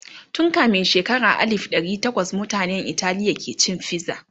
tun kamin shekara alif dari tawas mutanan Italiya ke cin fiza